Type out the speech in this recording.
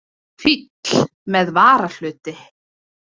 Fíll með varahluti!